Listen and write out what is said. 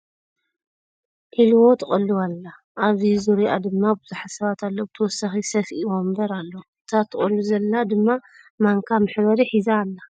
ዕልቦ ትቅልው ኣላ ። ኣብ ዙርይኣ ድማ ብዙሓት ሰባት ኣለዉ ብተወሳኪ ስፍኢ ወንበር ኣሎ ። እታ ትቆሉ ዘላ ድማ ማንካ መሕበሪ ሒዛ ኣላ ።